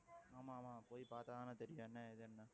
ஆமா ஆமா போய் பார்த்தாதான தெரியும் என்ன ஏதுன்னு